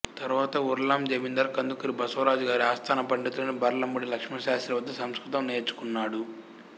తరువాత ఉర్లాం జమీందారు కందుకూరి బసవరాజు గారి ఆస్థాన పండితుడైన భళ్లమూడి లక్ష్మణశాస్త్రి వద్ద సంస్కృతము నేర్చుకున్నాడు